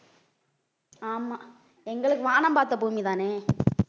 ஆமா எங்களுக்கு வானம் பார்த்த பூமிதானே